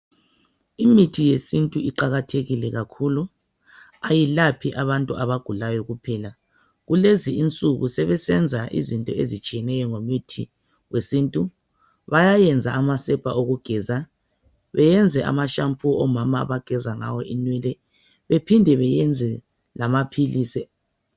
Imithi yesintu iqakathekile kakhulu. Ayilaphi abantu abagulayo kuphela. Kulezinsuku sebesenza izinto ezitshiyeneyo ngemithi yesintu. Bayayenza amasepa okugeza, benze ama shampoo omama abageza ngawo. inwele bephiwende benze lamaphilisi.